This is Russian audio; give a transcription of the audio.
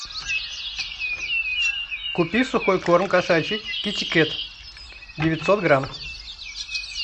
купи сухой корм кошачий китикет девятьсот грамм